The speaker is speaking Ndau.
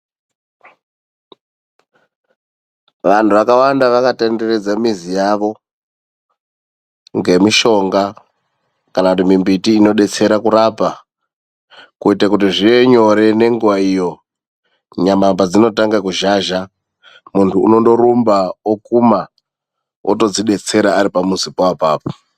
Vantu vakawanda vakatenderedza mizi yavo ngemishonga kana kuti mimbiti inodetsera kurapa, kuitira kuti zvive nyore nenguwa iyo nyama padzinotanga kuzhazha, muntu unondorumba okuma otodzidetsera aripo pamuzipo apapo .